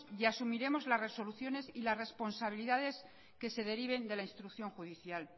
y asumiremos las resoluciones y las responsabilidades que se deriven de la instrucción judicial